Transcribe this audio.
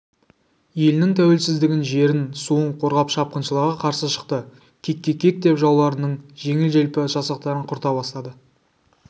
елінің тәуелсіздігін жерін суын қорғап шапқыншыларға қарсы шықты кекке кек деп жауларының жеңіл-желпі жасақтарын құрта бастады